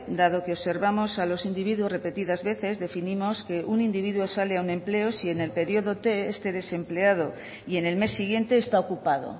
dado que observamos a los individuos repetidas veces definimos que un individuo sale a un empleo si en el periodo este desempleado y en el mes siguiente está ocupado